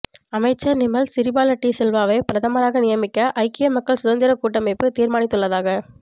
அமைச்சர் நிமல் சிறிபால டி சில்வாவை பிரதமராக நியமிக்க ஐக்கிய மக்கள் சுதந்திரக் கூட்டமைப்பு தீர்மானித்துள்ளதாக